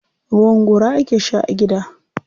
Ruwan gora ake sha a gida.